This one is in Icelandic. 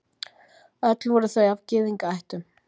Öll voru þau af Gyðingaættum.